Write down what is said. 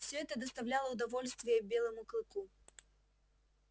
всё это доставляло удовольствие белому клыку